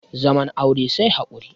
zaman aure sai haƙuri